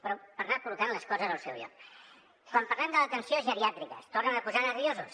però per anar col·locant les coses al seu lloc quan parlem de l’atenció geriàtrica es tornen a posar nerviosos